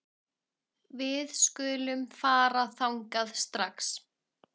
Við skulum fara þangað strax